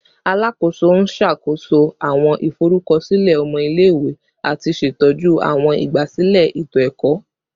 Alakoso n ṣakoso awọn iforukọsilẹ ọmọ ile-iwe ati ṣetọju awọn igbasilẹ eto-ẹkọ